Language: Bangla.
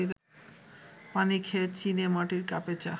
পানি খেয়ে চিনেমাটির কাপে চা